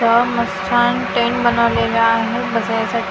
इथं मस छान टेंट बनवलेला आहे बसायसाठी .